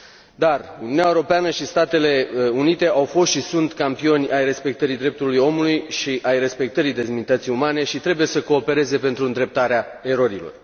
Dar, Uniunea Europeană și Statele Unite au fost și sunt campioni ai respectării drepturilor omului și ai respectării demnității umane și trebuie să coopereze pentru îndreptarea erorilor.